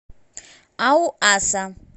ауаса